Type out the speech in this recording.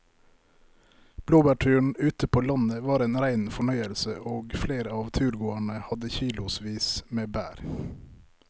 Blåbærturen ute på landet var en rein fornøyelse og flere av turgåerene hadde kilosvis med bær.